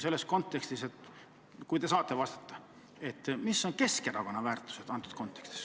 Sellest lähtudes ma küsin, kas te oskate vastata, mis on Keskerakonna väärtused selles kontekstis.